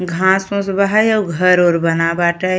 घाँस है अउ घर ओर बना बाटै।